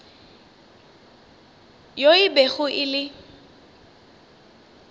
yo e bego e le